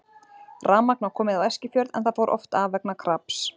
Rafmagn var komið á Eskifjörð en það fór oft af vegna kraps.